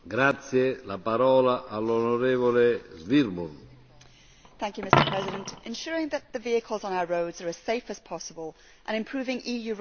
Mr President, ensuring that the vehicles on our roads are as safe as possible and improving EU road safety is, of course, something that is of grave importance.